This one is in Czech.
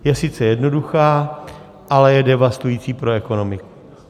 Je sice jednoduchá, ale je devastující pro ekonomiku.